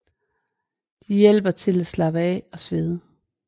Det hjælper til at slappe af og svede